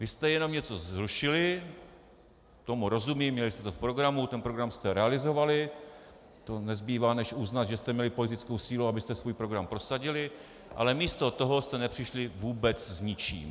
Vy jste jenom něco zrušili, tomu rozumím, měli jste to v programu, ten program jste realizovali, to nezbývá než uznat, že jste měli politickou sílu, abyste svůj program prosadili, ale místo toho jste nepřišli vůbec s ničím.